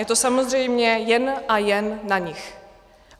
Je to samozřejmě jen a jen na nich.